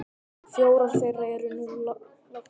Fjórar þeirra eru nú látnar.